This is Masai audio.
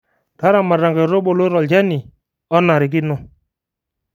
Taramata inkaitubulu tolchani onarikino